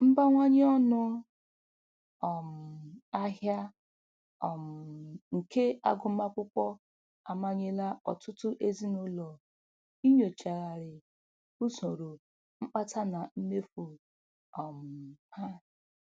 Mbawanye ọnụ um ahịa um nke agụmakwụkwọ amanyela ọtụtụ ezinụlọ inyochgharị usoro mkpata na mmefu um ha.